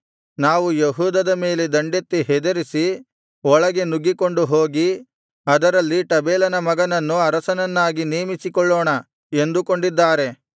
ನಾವು ಯೆಹೂದದ ಮೇಲೆ ದಂಡೆತ್ತಿ ಹೆದರಿಸಿ ಒಳಗೆ ನುಗ್ಗಿಕೊಂಡು ಹೋಗಿ ಅದರಲ್ಲಿ ಟಬೇಲನ ಮಗನನ್ನು ಅರಸನನ್ನಾಗಿ ನೇಮಿಸಿಕೊಳ್ಳೋಣ ಎಂದುಕೊಂಡಿದ್ದಾರೆ